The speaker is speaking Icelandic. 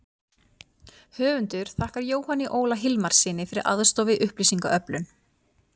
Höfundur þakkar Jóhanni Óla Hilmarssyni fyrir aðstoð við upplýsingaöflun.